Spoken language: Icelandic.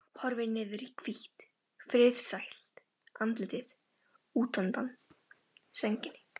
Horfir niður í hvítt, friðsælt andlitið útundan sænginni.